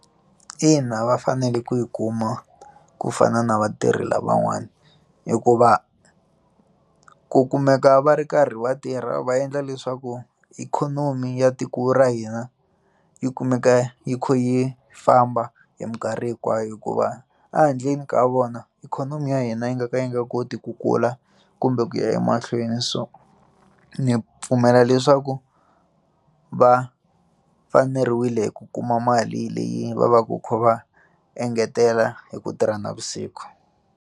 Ina, va fanele ku yi kuma ku fana na vatirhi lavan'wana hikuva ku kumeka va ri karhi vatirha va endla leswaku ikhonomi ya tiko ra hina yi kumeka yi kha yi famba hi mikarhi hinkwayo hikuva ehandleni ka vona ikhonomi ya hina yi nga ka yi nga koti ku kula kumbe ku ya emahlweni so ndzi pfumela leswaku va faneriwile hi ku kuma mali leyi va va ku kha va engetela hi ku tirha navusiku.